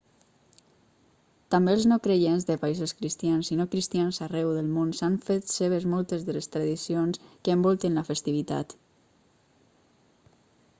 també els no-creients de països cristians i no-cristians arreu del món s'han fet seves moltes de les tradicions que envolten la festivitat